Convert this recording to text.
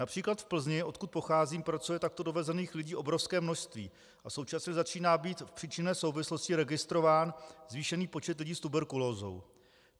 Například v Plzni, odkud pocházím, pracuje takto dovezených lidí obrovské množství a současně začíná být v příčinné souvislosti registrován zvýšený počet lidí s tuberkulózou.